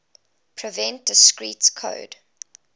prevent discrete code